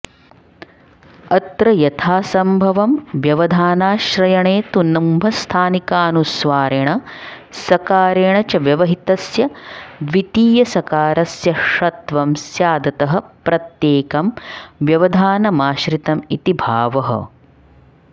अत्र यथासंभवं व्यवधानाश्रयणे तु नुम्स्थानिकानुस्वारेण सकारेण च व्यवहितस्य द्वितीयसकारस्य षत्वं स्यादतः प्रत्येकं व्यवधानमाश्रितमिति भावः